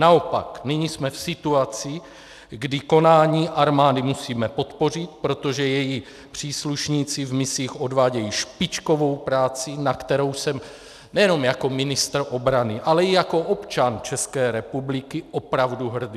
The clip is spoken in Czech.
Naopak, nyní jsme v situaci, kdy konání armády musíme podpořit, protože její příslušníci v misích odvádějí špičkovou práci, na kterou jsem nejenom jako ministr obrany, ale i jako občan České republiky opravdu hrdý.